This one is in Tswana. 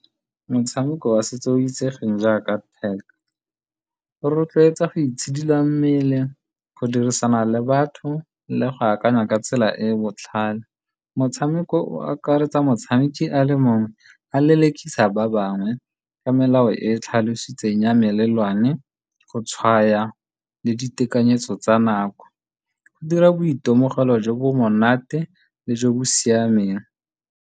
Motshameko wa setso o itsegeng jaaka tag, o rotloetsa go itshidila mmele, go dirisana le batho le go akanya ka tsela e e botlhale. Motshameko o, o akaretsa motshameki a le mongwe a lelekisa ba bangwe ka melao e tlhalositsweng ya melelwane, go tshwaya le ditekanyetso tsa nako go dira boitemogelo jo bo monate le jo bo siameng.